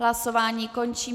Hlasování končím.